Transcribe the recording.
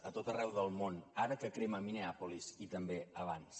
a tot arreu del món ara que crema minneapolis i també abans